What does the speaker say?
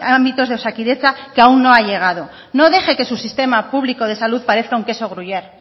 ámbitos de osakidetza que aún no ha llegado no deje que su sistema público de salud parezca un queso gruyer